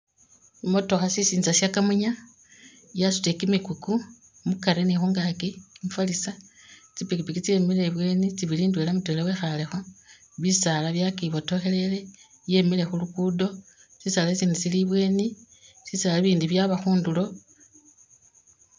I'motoka sisinza sha kamunye yasutile kimikuku mukari ni khungaaki, kimifalisa, tsipipiki tsemile ibweni tsibili, ndwela mutwela wekhaalekho, bisaala byakibotokhelele, yemile khu lugudo, sisaali isindi sili ibweeni, bisaala ibindi byaba khundulo.